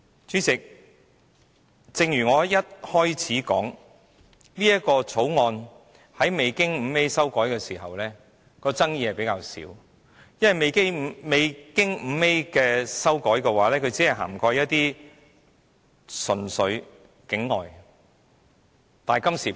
主席，正如我在發言開始時指出，這項《條例草案》在未經加入第 5A 條時的爭議比較少，因為未經加入第 5A 條的《條例草案》只涵蓋純粹境外公司。